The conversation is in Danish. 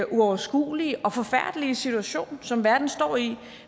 uoverskuelige og forfærdelige situation som verden står i